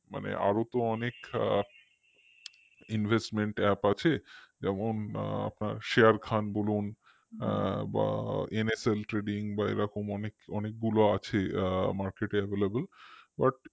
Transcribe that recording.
মানে আরও তো অনেক invest app আছে যেমন আপনার share খান বলুন আ বা NSL trading এরকম অনেকগুলো আছে market এ available but